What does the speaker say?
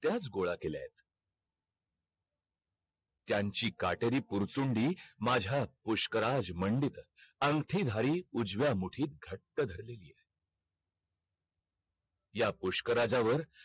त्याच गोळ्या केल्यात त्यांची काटेरी पुरचुंडी माझ्या पुष्कराज मंडीत आंखटी धारी उजव्या मुठीत घट्ट धरलेली है या पुष्कराज वर